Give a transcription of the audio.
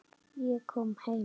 Ég kom heim!